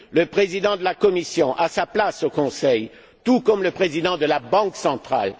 Le Président de la Commission a sa place au Conseil, tout comme le président de la Banque centrale.